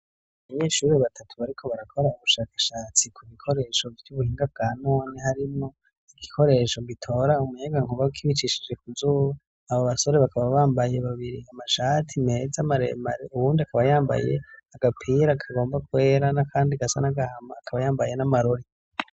Abanyeshuri batatu, bariko barakora ubushakashatsi ku bikoresho vy'ubuhinga bwa none, harimwo ibikoresho bitora umuyega nkuba kibicishije ku zuba, abo basore bakaba bambaye babiri amashati meza amaremare, uwundi akaba yambaye agapira akagomba kwera, n'akandi gasa n'agahama, akaba yambaye n'amarori.